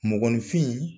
Mɔgɔninfin